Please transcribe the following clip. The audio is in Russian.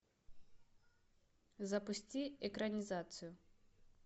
запусти экранизацию